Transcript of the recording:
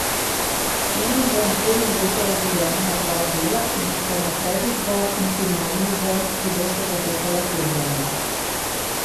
Ema bo naslednje leto razdeljena na dva dela, in sicer na predizbor in finalni izbor, ki bosta potekala februarja.